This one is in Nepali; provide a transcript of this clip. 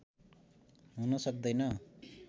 हुन सक्दैन